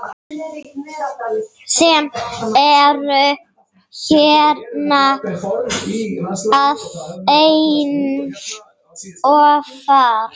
sem eru hérna aðeins ofar.